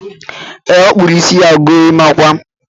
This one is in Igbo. E, ọ kpụrụ isi ya gorimakwa